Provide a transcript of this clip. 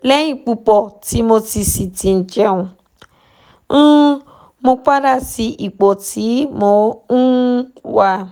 lẹ́yìn pupo tí mo sì ti jẹun um mo padà sí ipò tí mo um wà